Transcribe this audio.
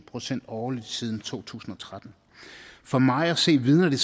procent årligt siden to tusind og tretten for mig at se vidner det